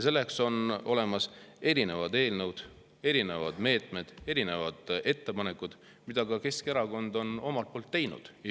Selleks on olemas erinevad eelnõud, erinevad meetmed, erinevad ettepanekud, mida ka Keskerakond on omalt poolt teinud.